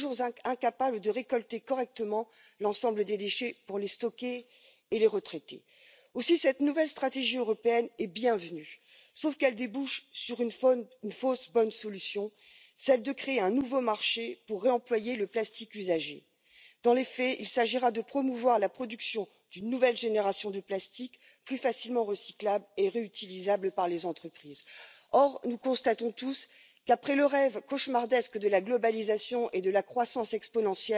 est important d'accompagner non seulement les collectivités locales, mais aussi les entreprises, pour qu'elles fassent les investissements nécessaires et cela, sans doute, par des mesures législatives concrètes. J'ai bien retenu la volonté d'instaurer un prix sur le non recyclable. Je pense que c'est particulièrement important. Alors, nous avons plusieurs actions à mener action sur la conception et la composition